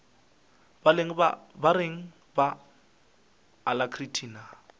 ba reng ba alacrity na